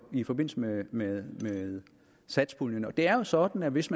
i forbindelse med med satspuljen det er jo sådan at hvis